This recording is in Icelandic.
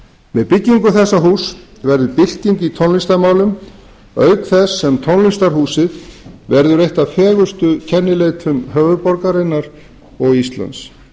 með byggingu þessa húss verður bylting í tónlistarmálum auk þess sem tónlistarhúsið verður eitt af fegurstu kennileitum höfuðborgarinnar og íslands